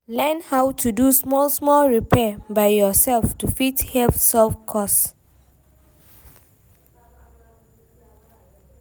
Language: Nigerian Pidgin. Learn how to do small small repair by yourself to fit help save cost